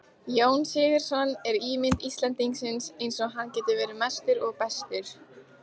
Jón Sigurðsson er ímynd Íslendingsins eins og hann getur verið mestur og bestur.